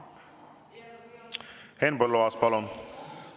Henn Põlluaas, palun!